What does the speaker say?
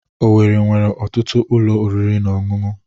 Owerri nwere ọtụtụ ụlọ oriri na ọṅụṅụ.